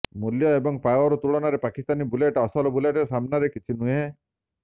ମୂଲ୍ୟ ଏବଂ ପାୱାର ତୁଳନାରେ ପାକିସ୍ତାନୀ ବୁଲେଟ୍ ଅସଲ ବୁଲେଟ୍ ସାମ୍ନାରେ କିଛି ନୁହେଁ